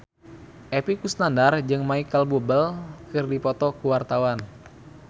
Epy Kusnandar jeung Micheal Bubble keur dipoto ku wartawan